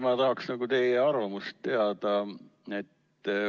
Ma tahaksin ikkagi teie arvamust teada.